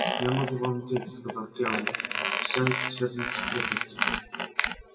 я могу вам ответить сказал кэллнер всё это связано с секретностью